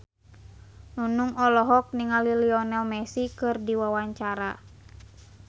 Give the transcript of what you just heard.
Nunung olohok ningali Lionel Messi keur diwawancara